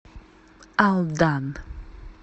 алдан